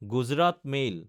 Gujarat mail